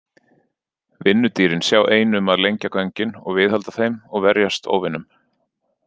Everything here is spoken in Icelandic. Vinnudýrin sjá ein um að lengja göngin og viðhalda þeim og verjast óvinum.